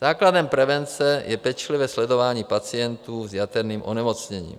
Základem prevence je pečlivé sledování pacientů s jaterním onemocněním.